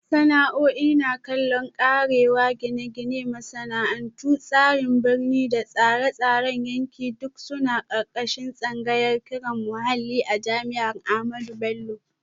Sana'a'i na kallo, karewa, Gine-gine, Masana'antu, Tsarin Birni da Tsare-tsaren yanki duk suna ƙarƙashin tsangayar ƙirar muhalli a jami'ar Ahmadu Bello.